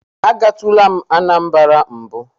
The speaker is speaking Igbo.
Agatula m Anambara mbụ.